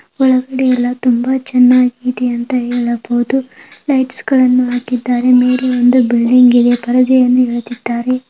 ಒಳಗಡೆ ಎಲ್ಲಾ ತುಂಬಾ ಚೆನಾಗಿದೆ ಅಂತ ಹೇಳಬಹುದು ಲೈಟ್ಸ ಗಳನ್ನು ಹಾಕಿದ್ದಾರೆ ಮೇಲೆ ಒಂದು ಬಿಲ್ಡಿಂಗ್ ಇದೆ ಪರದೆಯನ್ನು ಹಾಕಿದ್ದಾರೆ .